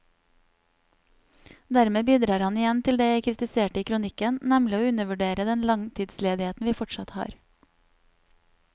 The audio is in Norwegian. Dermed bidrar han igjen til det jeg kritiserte i kronikken, nemlig å undervurdere den langtidsledigheten vi fortsatt har.